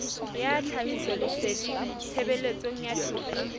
ya tlhahisoleseding tshebetsong ya toka